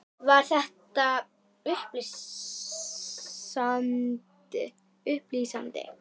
Var þetta upplýsandi?